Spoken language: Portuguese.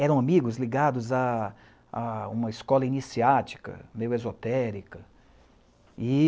eram amigos ligados a uma escola iniciática, meio esotérica.